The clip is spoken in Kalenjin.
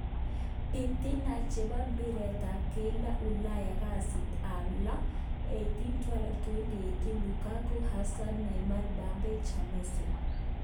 Bitina chebo mbiret ab keldo Ulaya kasit ab lo 08.12.2018: Lukaku, Hazard, Neymar, Mpabbe, De jong, jemenez.